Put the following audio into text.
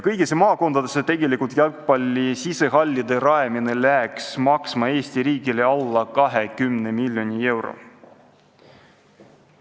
Kõigisse maakondadesse jalgpalli sisehallide rajamine läheks Eesti riigile maksma alla 20 miljoni euro.